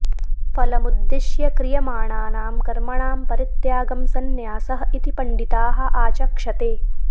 फलमुद्दिश्य क्रियमाणानां कर्मणां परित्यागं सन्न्यासः इति पण्डिताः आचक्षते